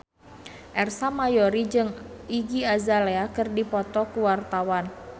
Ersa Mayori jeung Iggy Azalea keur dipoto ku wartawan